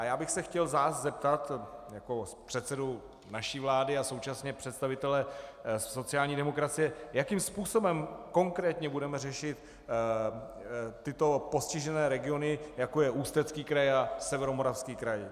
A já bych se chtěl vás zeptat jako předsedy naší vlády a současně představitele sociální demokracie, jakým způsobem konkrétně budeme řešit tyto postižené regiony, jako je Ústecký kraj a Severomoravský kraj.